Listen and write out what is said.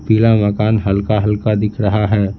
पीला मकान हल्का-हल्का दिख रहा है।